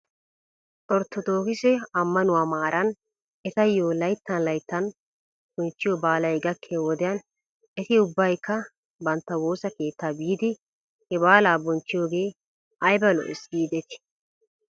Orttodookise ammanuwaa maaran etayo layttan lyttan bonchchiyo baalay gakkiyo wodiyan eti ubbaykka bantta woosa keettaa biidi he baalaa bonchchiyoogee ayba lo'ees giidetii?